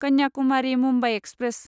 Kanyakumari Mumbai express